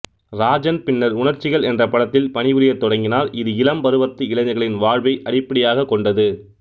ராஜன் பின்னர் உணர்சிகள் என்ற படத்தில் பணிபுரியத் தொடங்கினார் இது இளம் பருவத்து இளைஞர்களின் வாழ்வை அடிப்படையாக கொண்டது